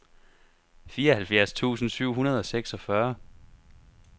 fireoghalvfjerds tusind syv hundrede og seksogfyrre